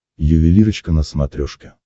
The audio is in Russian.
ювелирочка на смотрешке